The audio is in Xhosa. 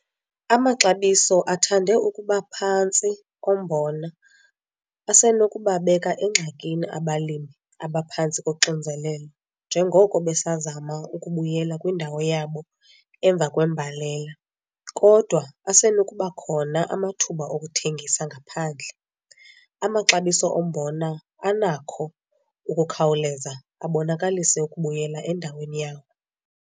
Amaxabiso athande ukuba phantsi ombona asenokubabeka engxakini abalimi abaphantsi koxinzelelo njengoko besazama ukubuyela kwindawo yabo emva kwembalela kodwa asenokuba khona amathuba okuthengisa ngaphandle, amaxabiso ombona anakho ukukhawuleza abonakalise ukubuyela endaweni yawo.